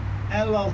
56.